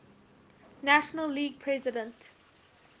national league president